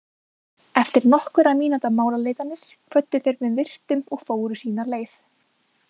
Eftir nokkurra mínútna málaleitanir kvöddu þeir með virktum og fóru sína leið.